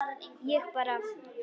Ég bara.